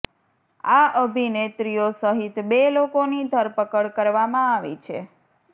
આ અભિનેત્રીઓ સહિત બે લોકોની ધરપકડ કરવામાં આવી છે